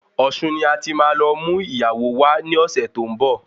Ọ̀ṣun ni ati má lọ mú ìyàwó wá ní ọ̀sẹ̀ tó ń bọ̀